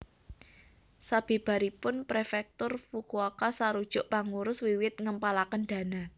Sabibaripun Prefektur Fukuoka sarujuk pangurus wiwit ngempalaken dana